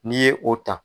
N'i ye o ta